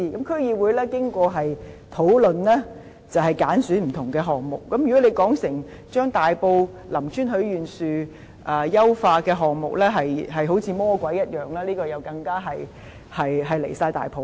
區議會在經過討論後揀選不同的項目，如果他們把大埔林村許願樹優化的項目形容得好像魔鬼一樣，這是太離譜了。